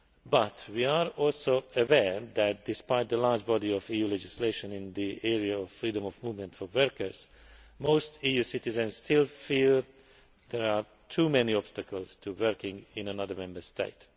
But we are also aware that, despite the large body of EU legislation in the area of freedom of movement for workers, most EU citizens still feel there are too many obstacles to working in another Member State.